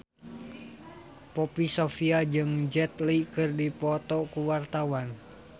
Poppy Sovia jeung Jet Li keur dipoto ku wartawan